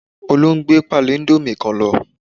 Olú n gbé páálí íńdómì kan lọ